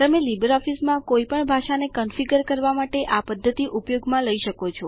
તમે લીબર ઓફીસમાં કોઈપણ ભાષાને કોન્ફીગર કરવા માટે આ પધ્ધતિ ઉપયોગમાં લઇ શકો છો